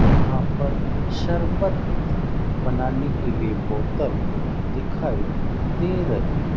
यहां पर शरबत बनाने के लिए बोतल दिखाई दे रही --